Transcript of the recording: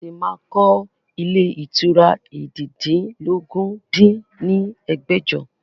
A ṣí máa kọ ilé ìtura eéjìdínlógún dín ní ẹgbẹ́jọ